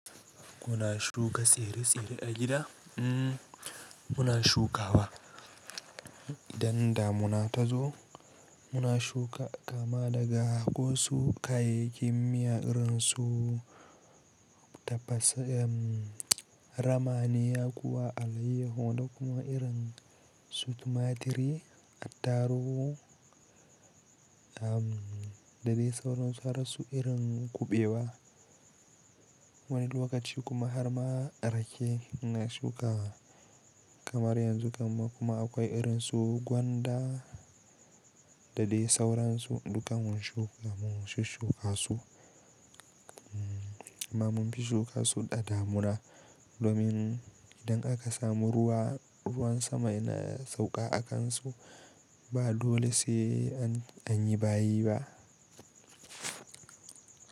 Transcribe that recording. Muna shuka tsire-tsire a gida? Mmm muna shuka ba. Idan damuna ta zo muna shuka, kama daga kosu ka, yayyin miya irin su tafasa rama ne kuwa alayyahu da kuma irin su tumaturi, attaruhu, da dai sauransu har su irin kuɓewa. Wani lokaci kuma har ma rake ina shukawa kamar yanzu, gama kuma akwai irin su gwanda da dai sauransu. Dukansu shuka mun shuka su amma mun fi shuka su da damuna domin idan aka samu ruwa, ruwan sama yana sauƙa a kansu ba dole sai an yi bayi ba.